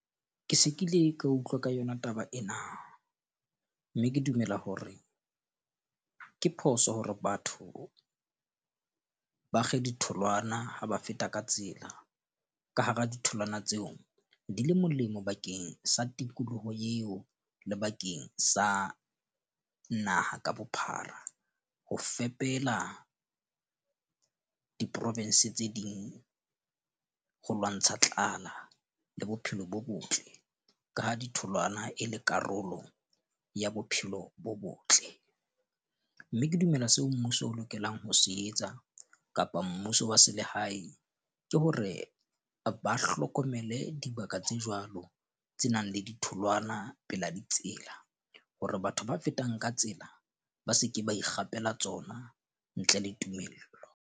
Ke se ke ile ka utlwa ka yona taba ena. Mme ke dumela hore ke phoso hore batho ba kge ditholwana ha ba feta ka tsela ka hara ditholwana tseo di le molemo bakeng sa tikoloho eo le bakeng sa naha ka bophara. Ho fepela di-province tse ding ho lwantsha tlala le bophelo bo botle. Ka ha ditholwana e le karolo ya bophelo bo botle. Mme ke dumela seo mmuso o lokelang ho se etsa kapa mmuso wa selehae, ke hore ba hlokomele dibaka tse jwalo tse nang le ditholwana pela ditsela, hore batho ba fetang ka tsela ba seke ba ikgapela tsona ntle le tumello.